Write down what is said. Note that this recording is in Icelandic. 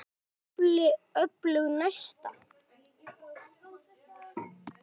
Er í tafli öflug næsta.